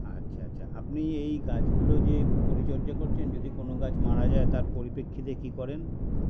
আচ্ছা আচ্ছা আপনি এই গাছগুলো যে পরিচর্যা করছেন যদি কোনো গাছ মারা যায় তার পরিপ্রেক্ষিতে কী করেন